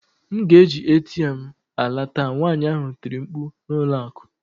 M ga-eji ATM m ala taa! nwanyị ahụ tiri mkpu n'ụlọ akụ.